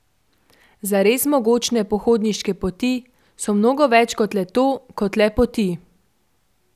Zares mogočne pohodniške poti so mnogo več kot le to, kot le poti.